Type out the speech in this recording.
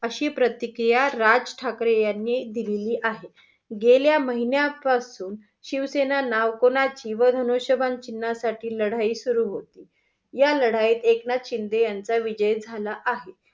अशी प्रतिक्रिया राज ठाकरे यांनी दिलेली आहे. गेल्या महिन्या पासून शिवसेना नाव कोणाचे व धनुष्यबाण चिन्हासाठी लढाई सुरु होती. या लढाईत एकनाथ शिंदे यांचा विजय झाला आहे.